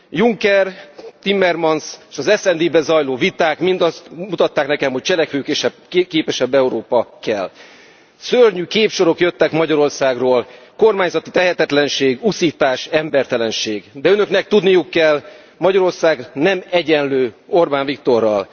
Juncker, Timmermans és az SD ben zajló viták mind azt mutatták nekem, hogy cselekvőképesebb Európa kell. Szörnyű képsorok jöttek Magyarországról, kormányzati tehetetlenség, uszítás, embertelenség, de Önöknek tudniuk kell, Magyarország nem egyenlő Orbán Viktorral.